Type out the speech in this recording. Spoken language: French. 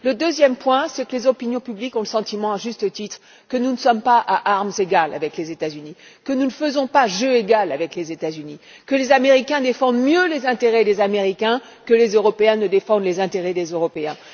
La deuxième raison, c'est que les opinions publiques ont le sentiment, à juste titre, que nous ne luttons pas à armes égales avec les États Unis, que nous ne faisons pas jeu égal avec les États Unis et que les Américains défendent mieux les intérêts des Américains que les Européens ne défendent les intérêts des Européens.